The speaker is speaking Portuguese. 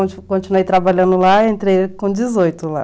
Aí eu continuei trabalhando lá, entrei com dezoito lá.